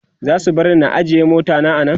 zasu barni na ajye mota ta a Nan?